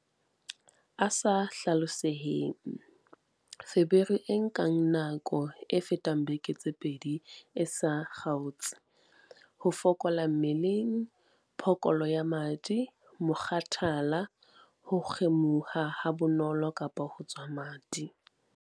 A sa hlaloseheng- Feberu e nkang nako e fetang dibeke tse pedi e sa kgaotse, ho fokola mmeleng, phokolo ya madi, mokgathala, ho kgumuha habonolo kapa ho tswa madi.